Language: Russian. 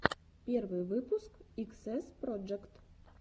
первый выпуск иксэс проджект